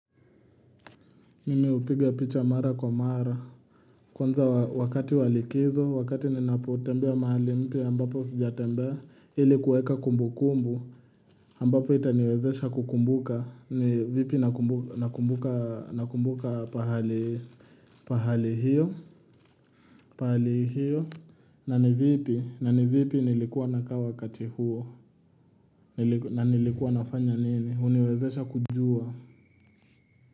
Mimi hupiga picha mara kwa mara. Kwanza wakati walikizo, wakati ninapotembea mahali mpya ambapo sijatembea ilikuweka kumbu kumbu ambapo itaniwezesha kukumbuka ni vipi nakumbuka nakumbuka nakumbuka pahali hiyo pahali hiyo na ni vipi nilikuwa nakaa wakati huo na nilikuwa nafanya nini huniwezesha kujua.